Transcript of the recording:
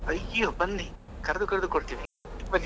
ಅಯ್ಯೋ ಬನ್ನಿ ಕರೆದು ಕರೆದು ಕೊಡ್ತೀವಿ ಬನ್ನಿ.